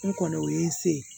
N kɔni o ye n se